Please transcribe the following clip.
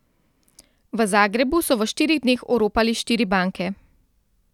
V Zagrebu so v štirih dneh oropali štiri banke.